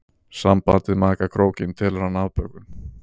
Sambandið maka krókinn telur hann afbökun.